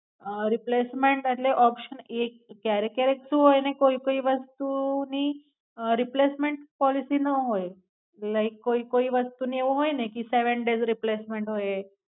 replacement એટલ option એક ક્યારે ક્યારે શુ હોય ને કોઈ કોઈ વસ્તુ ની રિપ્લેસમેન્ટ ફરીથી નો હોય લયખું હોય કોઈ વસ્તુને એવું હોય ને કી સેવન ડેસ રિપ્લેસમેન્ટ હોય એ